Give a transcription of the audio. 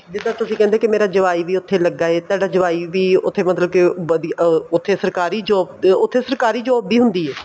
ਜੇ ਤਾਂ ਤੁਸੀਂ ਕਹਿੰਦੇ ਹੋ ਮੇਰਾ ਜਵਾਈ ਵੀ ਉੱਥੇ ਲੱਗਾ ਏ ਤੁਹਾਡਾ ਜਵਾਈ ਵੀ ਉੱਥੇ ਮਤਲਬ ਕੀ ਅਹ ਸਰਕਾਰੀ job ਉੱਥੇ ਸਰਕਾਰੀ job ਵੀ ਹੁੰਦੀ ਏ